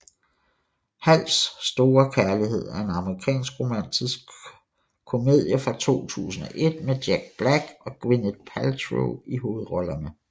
Hals Store Kærlighed er en amerikansk romantisk komedie fra 2001 med Jack Black og Gwyneth Paltrow i hovedrollerne